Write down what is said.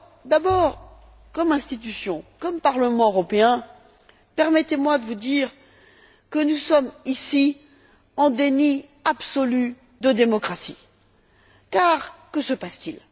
D'abord, au nom de notre institution, du Parlement européen, permettez moi de vous dire que nous sommes, ici, en déni absolu de démocratie, car que se passe t il?